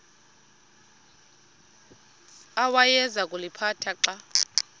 awayeza kuliphatha xa